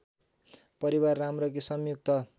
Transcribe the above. परिवार राम्रो कि संयुक्त